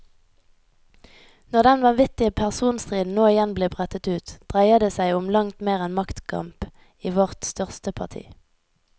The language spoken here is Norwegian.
Når den vanvittige personstriden nå igjen blir brettet ut, dreier det som om langt mer enn maktkamp i vårt største parti.